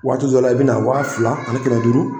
Waati dɔ la i bɛna wa fila ani kɛmɛ duuru.